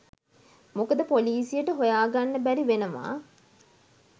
මොකද පොලීසියට හොයාගන්න බැරි වෙනවා